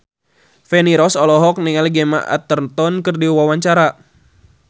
Feni Rose olohok ningali Gemma Arterton keur diwawancara